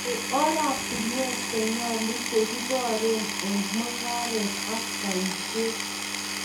Nai oratinwek chenyolu che kiboree eng mung'aret ak boishet